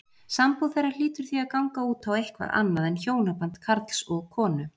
Sambúð þeirra hlýtur því að ganga út á eitthvað annað en hjónaband karls og konu.